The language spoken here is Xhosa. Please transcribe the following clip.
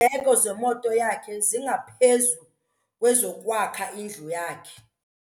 Iindleko zemoto yakhe zingaphezu kwezokwakha indlu yakhe.